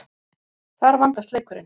Þar vandast leikurinn.